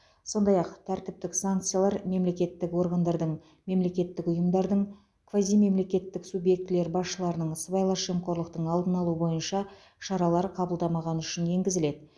сондай ақ тәртіптік санкциялар мемлекеттік органдардың мемлекеттік ұйымдардың квазимемлекеттік субъектілер басшыларының сыбайлас жемқорлықтың алдын алу бойынша шаралар қабылдамағаны үшін енгізіледі